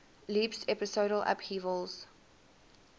leaps episodal upheavals